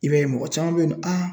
I b'a ye mɔgɔ caman bɛ yen nɔ